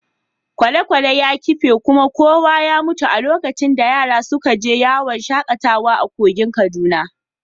Kwale-kwalen ya kife kuma kowa ya mutu a lokacin da yaran suka je yawon shakatawa a kogin Kaduna.